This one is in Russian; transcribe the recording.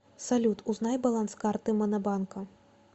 салют узнай баланс карты монобанка